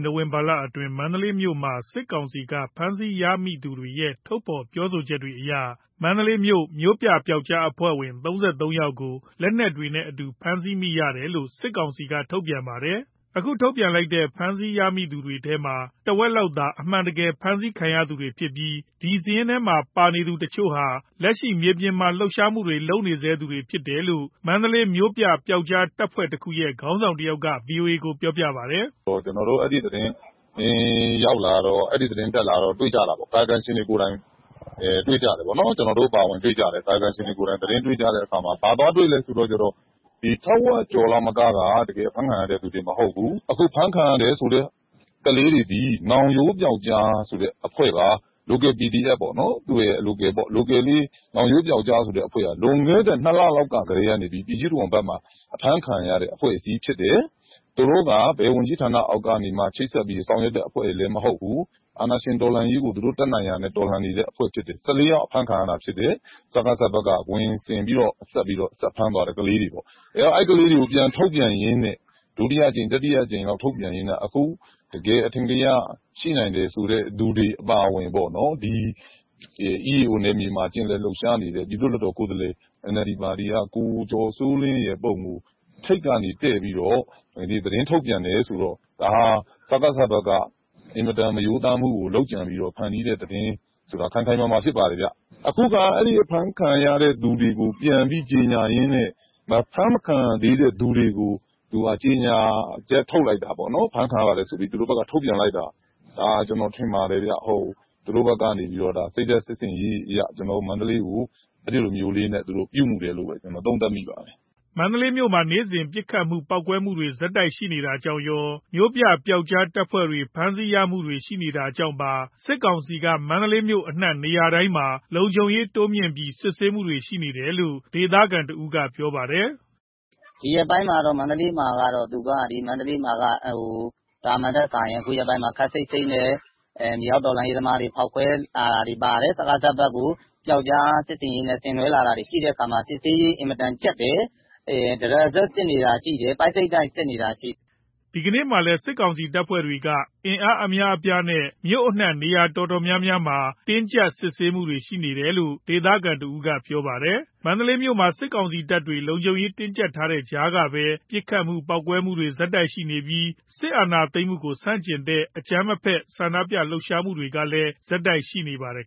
နိုဝင်ဘာလအတွင်း မန္တလေးမြို့မှာ စစ်ကောင်စီက ဖမ်းဆီးရမိသူတွေရဲ့ ထုတ်ဖော်ပြောပြချက်တွေအရ မန္တလေးမြို့ မြို့ပြပျောက်ကြားအဖွဲ့ဝင် ၃၃ ယောက်ကို လက်နက်တွေနဲ့အတူ ဖမ်းဆီးရမိတယ်လို့ စစ်ကောင်စီက ထုတ်ပြန်ပါတယ်။ ခု ထုတ်ပြန်ထားတဲ့ ဖမ်းဆီးရမိသူတွေထဲမှာ တစ်ဝက်လောက်သာ အမှန်တကယ် ဖမ်းဆီးခံရသူဖြစ်ပြီး ဒီစာရင်းထဲမှာ ပါနေသူတစ်ချို့ဟာ လက်ရှိ မြေပြင်မှာ လှုပ်ရှားမှုတွေလုပ်နေဆဲ သူတွေ ဖြစ်တယ်လို့ မန္တလေးမြို့ပြ ပျောက်ကြားတပ်ဖွဲ့တစ်ခုရဲ့ ခေါင်းဆောင်တစ်ဦးက VOA ကို ပြောပါတယ်။ “ကျွန်တော်တို့က အဲ့ဒီသတင်း တက်လာတော့ တွေ့ကြတယ်၊ ကာယကံရှင်တွေကိုယ်တိုင်တွေ့ ကြတယ်။ ကာယကံရှင်တွေကိုယ်တိုင် သတင်းတွေ့ကြတဲ့အခါ ဘာသွားတွေ့လဲဆိုတော့ ထက်ဝက်ကျော်လောက်က တကယ် အဖမ်းခံရတဲ့သူတွေ မဟုတ်ဘူး။ အခု ဖမ်းခံရတယ်ဆိုတဲ့ ကလေးတွေသည် နောင်ရိုး ပျောက်ကြားဆိုတဲ့ အဖွဲ့ပါ။ Local အဖွဲ့တစ်ဖွဲ့ပါ။ ဒီနောင်ရိုးပျောက်ကြားဆိုတဲ့အဖွဲ့ဟာ လွန်ခဲ့တဲ့ ၂ လလောက်ကတည်းက ပြည်ကြီးတံခွန်ဖက်မှာ အဖမ်းခံရတဲ့ အဖွဲ့အစည်းဖြစ်တယ်။ သူတို့က ဘယ်ဝန်ကြီးဌာန အောက်ကနေမှ ချိတ်ဆက်ပြီး ဆောင်ရွက်တဲ့ အဖွဲ့တွေလဲ မဟုတ်ဘူး။ အာဏာရှင်တော်လှန်ရေးကို သူတို့ တတ်နိုင်ရာနဲ့ တော်လှန်နေတဲ့ အဖွဲ့ဖြစ်တယ်။ ၁၄ ယောက်အဖမ်းခံရတာဖြစ်တယ်။ စကစက ခွင်ဆင်ပြီးတော့ ဖမ်းခံရတဲ့ကလေးတွေပေ့ါ။ အဲ့ဒီကလေးတွေကို ဒုတိယအကြိမ်၊ တတိယအကြိမ် ထုတ်ပြန်ရင်းနဲ့ အခု တကယ် အထင်ကရ ရှိနိုင်တယ်ဆိုတဲ့ သူတွေအပါအဝင် ဒီ EAO နယ်မြေမှာ ကျင်လည်လှုပ်ရှားနေတဲ့ ပြည်သူလွတ်တော်ကိုယ်စားလှယ် NLD ပါတီက ကိုကျော်စောလင်းရဲ့ ပုံကို ထိပ်ကနေ တည်ပြီးတော့ သတင်းထုတ်ပြန်တယ်။ ဆိုတော့ ဒါက စကစ ဖက်က အင်မတန်မရိုးသားတဲ့ လုပ်ကြံဖန်တီးတဲ့ သတင်း ဖြစ်တယ်။ အခု သူတို့က ဖမ်းခံရတဲ့သူတွေကို ကြေညာရင်းန့ အဖမ်းမခံရသေးတဲ့သူတွေကို ဖမ်းခံရပါတယ်ဆိုပြီး ကြေညာချက်ထုတ်လိုက်တာပေါ့။ ဒါကို ကျွန်တော်ထင်ပါတယ်၊ စိတ်ဓာတ်စစ် ဆင်ရေးအရ ကျွန်တော်တို့ မန္တလေးကို အဲ့ဒီလို ပြုမူတယ်လို့ သုံးသပ်မိပါတယ်။” မန္တလေးမြို့မှာ နေ့စဉ် ပစ်ခတ်မှု ပေါက်ကွဲမှုတွေ ဆက်တိုက်ရှိနေတာကြောင့်ရော၊ မြို့ပြ ပျောက်ကြားတပ်ဖွဲ့တွေဖမ်းဆီးရမိမှုတွေ ရှိနေတာကြောင့်ပါ စစ်ကောင်စီက မန္တလေး မြို့အနှံ့ နေရာတိုင်းမှာ လုံခြုံရေးတိုးမြင့်ပြီး စစ်ဆေးမှုတွေ ရှိနေတယ်လို့ ဒေသခံတစ်ဦးက ပြောပါတယ်။ သာမန်ထက်စာရင် ခုရက်ပိုင်းမှာ ခပ်စိတ်စိတ်နဲ့ မြေအောက်တော်လှန်ရေးသမားတွေရဲ့ ဖောက်ခွဲမှုတွေ၊ စကစဖက်ကို ပျောက်ကြားစစ်ဆင်ရေးနဲ့ လုပ်လာတာတွေရှိတဲ့အခါ စစ်ဆေးရေးက အင်မတန်ကြပ်တယ်။ တရစပ်စစ်နေတာရှိတယ် ပိုက်စိတ်တိုက်စစ်နေတာရှိတယ်။” ဒီကနေ့မှာလည်း စစ်ကောင်စီတပ်တွေက အင်အားအများအပြားနဲ့ မြို့အနှံ့နေရာအတော်များများမှာ တင်းကြပ်စစ်ဆေးတာတွေ ရှိခဲ့တယ်လို့ ဒေသခံတစ်ဦးက ပြောပြပါတယ်။ မန္တလေးမြို့မှာ စစ်ကောင်စီတပ်တွေ လုံခြုံရေးတင်းကြပ်ထားတဲ့ ကြားကပဲ ပစ်ခတ်မှု ပေါက်ကွဲမှုတွေ ဆက်ရှိပြီး စစ်အာဏာသိမ်းမှုကို ဆန့်ကျင်တဲ့ အကြမ်းမဖက် ဆန္ဒပြ လှုပ်ရှားမှုတွေကလဲ ဆက်ရှိနေပါတယ်